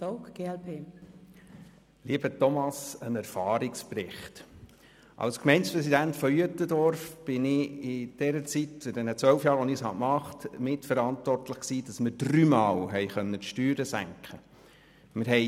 Lieber Thomas Rufener, ein Erfahrungsbericht: Als Gemeindepräsident von Uetendorf war ich während der zwölf Jahre, als ich dieses Amt innehatte, dafür mitverantwortlich, dass wir dreimal die Steuern senken konnten.